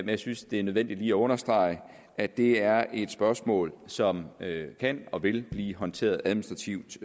jeg synes det er nødvendigt lige at understrege at det er et spørgsmål som kan og vil blive håndteret administrativt